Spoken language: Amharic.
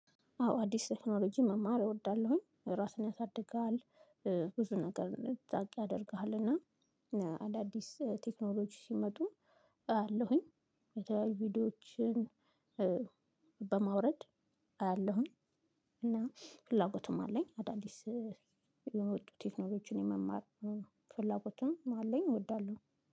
አዎ አዲስ ቴክኖሎጂ መማር እወዳለሁኝ ራስን ያሳድጋል። ብዙ ነገር እንድታውቅ ያደርግሃል እና አዳዲስ ቴክኖሎጂ ሲመጡ አለሁኝ የተለያዩ ቪዲዮዎችን። በማውረድ አያለሁኝ እና ፍላጎቱም አለኝ። አዳዲስ የሚወጡ ቴክኖሎጂን የመማር ፍላጎቱም አለኝ። እወዳለሁ